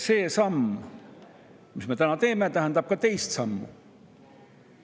See samm, mille me täna teeme, tähendab ka teist sammu.